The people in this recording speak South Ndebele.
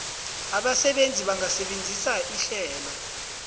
abasebenzi bangasebenzisa ihlelo